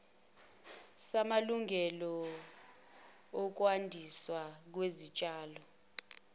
samalungelo okwandiswa kwesitshalo